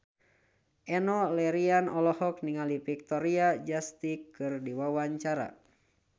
Enno Lerian olohok ningali Victoria Justice keur diwawancara